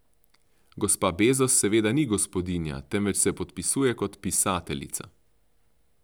Gospa Bezos seveda ni gospodinja, temveč se podpisuje kot pisateljica.